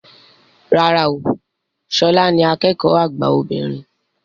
Rárá o, ṣọlá ni akẹ́kọ̀ọ́ àgbà obìnrin